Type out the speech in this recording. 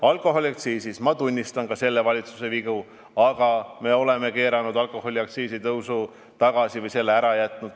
Alkoholiaktsiisi puhul tunnistan ma ka selle valitsuse vigu, aga me oleme keeranud alkoholiaktsiisi tõusu tagasi või selle ära jätnud.